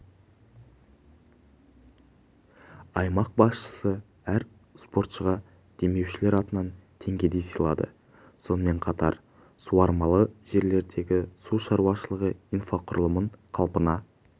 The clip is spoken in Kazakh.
аймақ басшысы әр спортшыға демеушілер атынан теңгеден сыйлады сонымен қатар суармалы жерлердегі су шаруашылығы инфрақұрылымын қалпына